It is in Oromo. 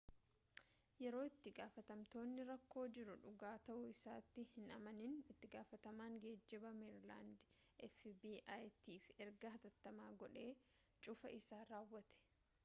yeroo itti-gaafatamtootni rakkoo jiru dhugaa ta'uu isaatti hin amanin itti-gaafatamaan geejjibaa meeriilaand fbi'tiif ergaa hatattamaa godhee cufaa isaa raawwate